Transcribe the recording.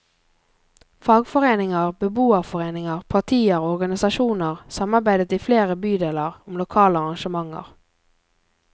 Fagforeninger, beboerforeninger, partier og organisasjoner samarbeidet i flere bydeler om lokale arrangementer.